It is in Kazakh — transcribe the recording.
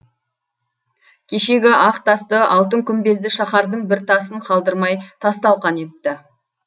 кешегі ақ тасты алтын күмбезді шаһардың бір тасын қалдырмай тас талқан етті